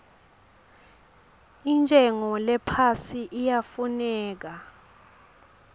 intshengo lephasi iyafuneka